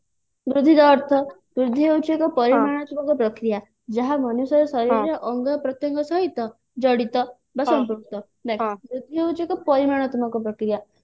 ବୃଦ୍ଧି ର ଅର୍ଥ ବୃଦ୍ଧି ହଉଛି ଏକ ପରିମାଣାତ୍ମକ ପ୍ରକ୍ରିୟା ଯାହା ମନୁଷ୍ୟର ଶରୀରରେ ଅଙ୍ଗ ପ୍ରତ୍ୟଙ୍ଗ ସହିତ ଜଡିତ ବା ସମ୍ପୃକ୍ତ ଦେଖ ବୃଦ୍ଧି ହଉଛି ଏକ ପରିମାଣାତ୍ମକ ପ୍ରକ୍ରିୟା